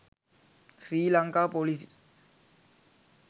srilanka police